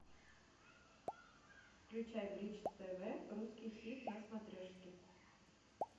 включай бридж тв русский хит на смотрешке